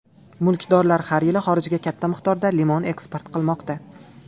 Mulkdorlar har yili xorijga katta miqdorda limon eksport qilmoqda.